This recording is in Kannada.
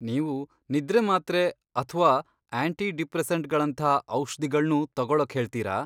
ನೀವು ನಿದ್ರೆ ಮಾತ್ರೆ ಅಥ್ವಾ ಆಂಟಿ ಡಿಪ್ರೆಸೆಂಟ್ಗಳಂಥಾ ಔಷ್ಧಿಗಳ್ನೂ ತಗೊಳಕ್ ಹೇಳ್ತೀರಾ?